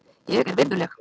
Ég er virðuleg.